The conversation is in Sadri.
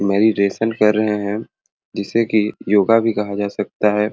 मेडिटेशन कर रहे है जिससे की योगा भी कहा जा सकता है।